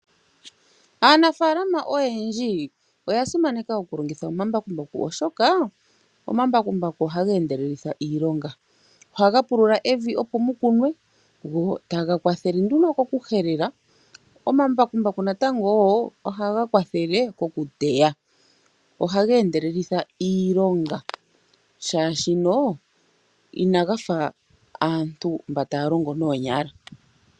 Aanafaalama oyendji oya simaneka okulongitha omambakumbaku oshoka omambakumbaku ohaga endelelitha iilonga. Ohaga pulula evi opo mu kunwe go taga kwathele nduno kokuhelela, omambakumbaku natango wo ohaga kwathele kokuteya. Ohaga endelelitha iilonga molwaashono inaga fa aantu mba taya longo noonyala.